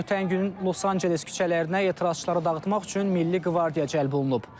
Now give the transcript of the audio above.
Ötən gün Los-Anceles küçələrinə etirazçıları dağıtmaq üçün milli qvardiya cəlb olunub.